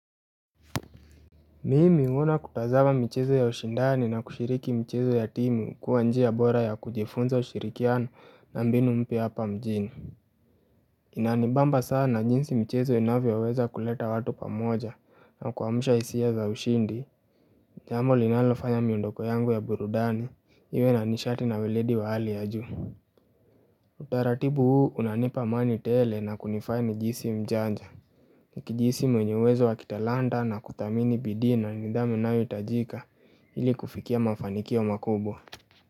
Mimi huona kutazama michezo ya ushindani na kushiriki mchezo ya timu kuwa njia bora ya kujifunza ushirikiano na mbinu mpya hapa mjini. Inanibamba sana jinsi mchezo inavyoweza kuleta watu pamoja na kuamsha hisia za ushindi, jambo linalofanya miondoko yangu ya burudani, iwe na nishati na weledi wa hali ya juu. Utaratibu huu unanipa amani tele na kunifanya nijisi mjanja. Nikijisi mwenye uwezo wa kitalanta na kuthamini bidii na nidhamu inayohitajika ili kufikia mafanikio makubwa.